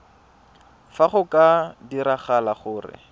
fa go ka diragala gore